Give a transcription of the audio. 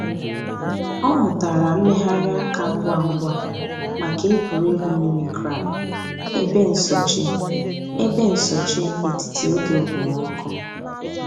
Ọ̀ mùtárà mmèghàrì àkà ngwá ngwá mǎká ègwè́régwụ̀ mimicry èbè nsòché èbè nsòché ètítì ògè òkpòmọ́kụ̀.